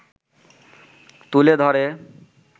তুলে ধরে